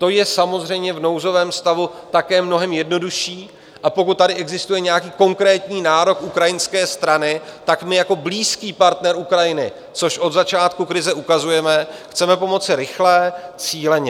To je samozřejmě v nouzovém stavu také mnohem jednodušší, a pokud tady existuje nějaký konkrétní nárok ukrajinské strany, tak my jako blízký partner Ukrajiny, což od začátku krize ukazujeme, chceme pomoci rychle, cíleně.